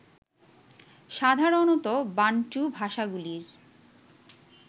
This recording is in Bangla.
সাধারণত বান্টু ভাষাগুলির